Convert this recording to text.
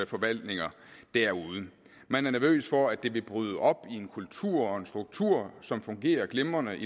forvaltninger derude man er nervøs for at det vil bryde op i en kultur og en struktur i som fungerer glimrende